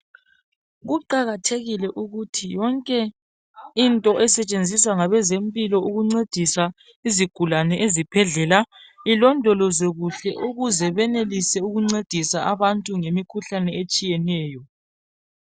Kuqakathekile ukuthi yonke into esetshenziswa ngabezempilo ukuncedisa izigulane ezibhedlela ilondolozwe kuhle ukuze benelise ukuncedisa abantu ngemikhuhlane etshiyeneyo.